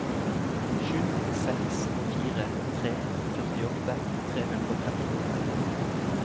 sju seks fire tre førtiåtte tre hundre og trettiåtte